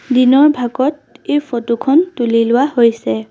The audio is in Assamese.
দিনৰ ভাগত এই ফটো খন তুলি লোৱা হৈছে।